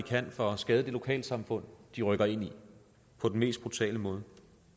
kan for at skade det lokale samfund de rykker ind i på den mest brutale måde